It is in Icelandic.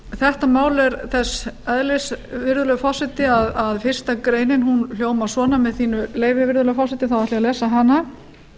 þetta mál er þess eðlis virðulegur forseti að fyrstu grein hljóðar svona með þínu leyfi virðulegi forseti þá ætla ég